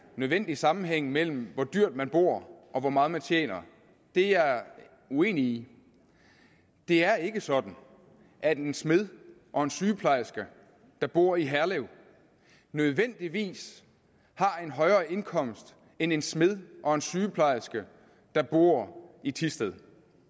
nødvendig sammenhæng mellem hvor dyrt man bor og hvor meget man tjener det er jeg uenig i det er ikke sådan at en smed og en sygeplejerske der bor i herlev nødvendigvis har en højere indkomst end en smed og en sygeplejerske der bor i thisted